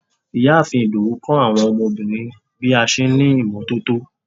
ìyáàfín Ìdòwú kọ́ àwọn ọmọbìnrin bí a n ṣe ní imototo